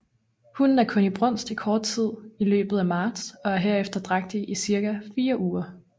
Hunnen er kun i brunst i kort tid i løbet af marts og er herefter drægtig i cirka 4 uger